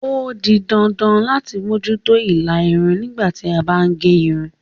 O di dandan lati moju to ila irun nigba ti a ba n ge irun